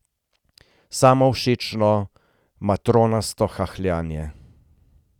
Samovšečno, matronasto hahljanje.